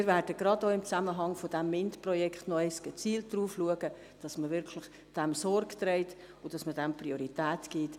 Wir werden auch im Zusammenhang mit diesem MINT-Projekt gezielt darauf achten, dass man der Gleichbehandlung der Geschlechter Sorge trägt und Priorität einräumt.